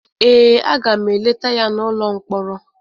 ee, a ga m eleta ya n’ụlọ mkpọrọ